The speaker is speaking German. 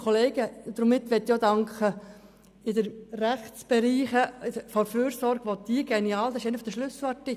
Und damit möchte ich auch dem Rechtsamt der GEF danken, der diese geniale Idee hatte.